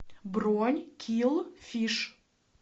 бронь килл фиш